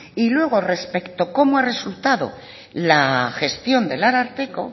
y luego con respecto de cómo ha resultado la gestión del ararteko